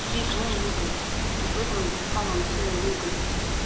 вик ну и глупость вот в этом самом всё и глупость